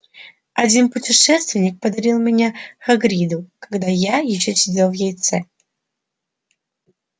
один путешественник подарил меня хагриду когда я ещё сидел в яйце